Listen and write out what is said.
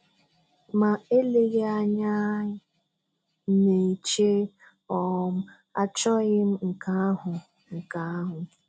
Ma eleghị anya ị n'eche, um achọghị m nke ahụ. nke ahụ.